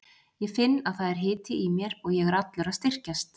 Ég finn að það er hiti í mér og ég er allur að styrkjast.